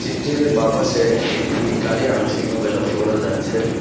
বাঁ পাশে একটি গাড়ি আংশিকভাবে লক্ষ্য করা যাচ্ছে।